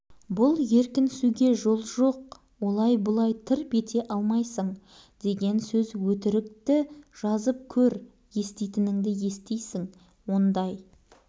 бір нәрсені асырып не жасырсам бауыржанға да оның достарына да қиянат болар еді